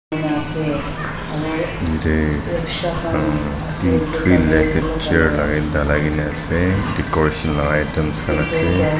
decoration la items khan ase.